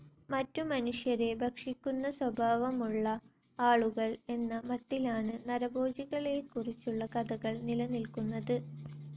മറ്റു മനുഷ്യരെ ഭക്ഷിക്കുന്ന സ്വഭാവമുള്ള ആളുകൾ എന്ന മട്ടിലാണ് നരഭോജികളെക്കുറിച്ചുള്ള കഥകൾ നിലനിൽക്കുന്നത്.